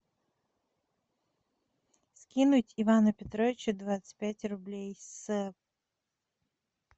скинуть ивану петровичу двадцать пять рублей с